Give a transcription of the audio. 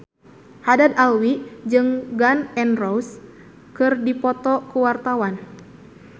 Haddad Alwi jeung Gun N Roses keur dipoto ku wartawan